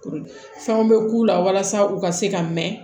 Fɛnw bɛ k'u la walasa u ka se ka mɛn